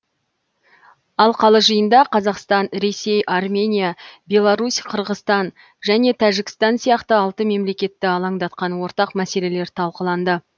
алқалы жиында қазақстан ресей армения беларусь қырғызстан және тәжікістан сияқты алты мемлекетті алаңдатқан ортақ мәселелер талқыланды